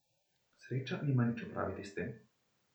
Sreča nima nič opraviti s tem.